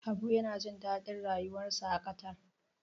Habu yana jin daɗin rayuwarsa a Qatar.